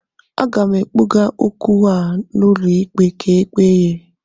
Aga m kpụga okwu a n'ụlọ ikpe ka e ekpe ya